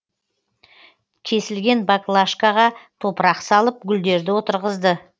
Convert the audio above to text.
кесілген баклажкаға топырақ салып гүлдерді отырғызды